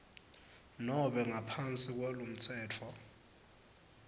nobe ngaphansi kwalomtsetfo